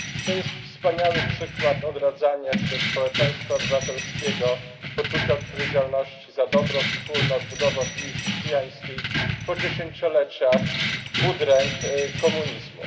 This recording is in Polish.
To jest wspaniały przykład odradzania się społeczeństwa obywatelskiego, poczucia odpowiedzialności za dobro wspólne, odbudowy opinii chrześcijańskiej po dziesięcioleciach udręk komunizmu.